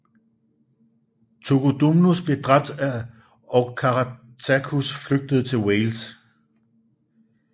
Togodumnus blev dræbt og Caratacus flygtede til Wales